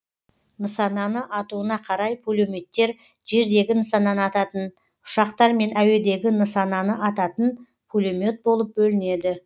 нысананы атуына қарай пулеметтер жердегі нысананы ататын ұшақтар мен әуедегі нысананы ататын пулемет болып бөлінеді